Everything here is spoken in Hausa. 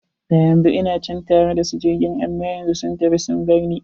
Da yanzu ina can tare da su a jirgin, amma sun tafi sun barni.